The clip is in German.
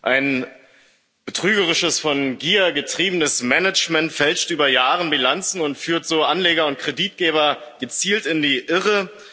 Ein betrügerisches, von Gier getriebenes Management fälscht über Jahre Bilanzen und führt so Anleger und Kreditgeber gezielt in die Irre.